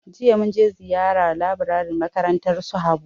jiya mun je ziyara laburaren makarantar su habu.